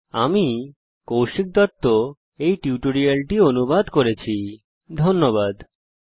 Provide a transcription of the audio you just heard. আমি কৌশিক দত্ত এই টিউটোরিয়াল টি অনুবাদ করেছি এতে অংশগ্রহন করার জন্য ধন্যবাদ